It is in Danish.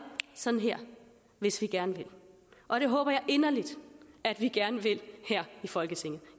sådan her hvis vi gerne vil og det håber jeg inderligt at vi gerne vil her i folketinget